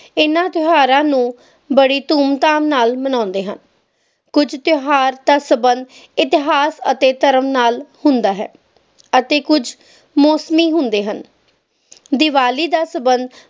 ਹਨ ਤਿਓਹਾਰਾਂ ਨੂੰ ਬੜੀ ਧੂਮ ਧਾਮ ਨਾਲ ਮਨਾਉਂਦੇ ਹਨ ਕੁਛ ਤਿਓਹਾਰ ਦਾ ਸੰਬੰਧ ਇਤਿਹਾਸ ਅਤੇ ਧਰਮ ਨਾਲ ਹੁੰਦਾ ਹੈ ਅਤੇ ਕੁਛ ਹੁੰਦੇ ਹਨ ਦੀਵਾਲੀ ਦਾ ਸੰਬੰਧ